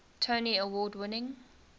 tony award winning